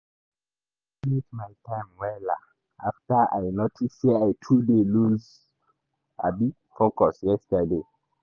today i manage my time wella after i notice sey i too dey lose um focus yesterday.